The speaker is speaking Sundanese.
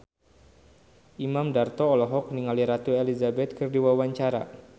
Imam Darto olohok ningali Ratu Elizabeth keur diwawancara